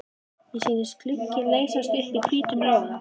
Mér sýndist glugginn leysast upp í hvítum loga.